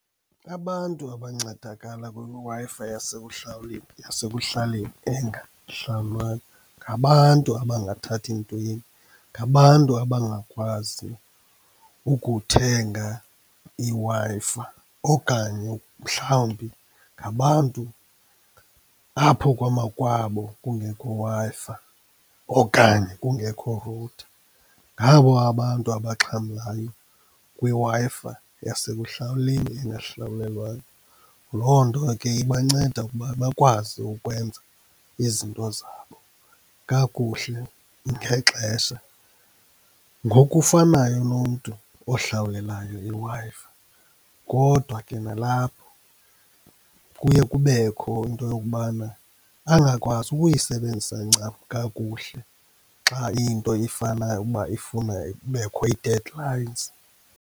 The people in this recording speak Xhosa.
Abantu abancedakala kwiWi-Fi yasekuhlaleni engahlawulwayo, ngabantu abangathathi ntweni, ngababantu abangakwazi ukuthenga iWi-Fi, okanye mhlawumbi ngabantu apho kwamakwabo kungekho Wi-Fi okanye kungekho router, ngabo abantu abaxhamlayo kwiWi-Fi yasekuhlaleni engahlawulelwayo. Loo nto ke ibanceda ukuba bakwazi ukwenza izinto zabo kakuhle ngexesha, ngokufanayo nomntu ohlawulelayo iWi-Fi. Kodwa ke nalapho kuye kubekho into yokubana angakwazi ukuyisebenzisa ncam kakuhle xa into ifanayo uba ifuna kubekho ii-deadlines.